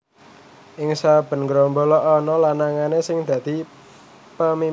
Ing saben grombol ana lanangané sing dadi pimpinané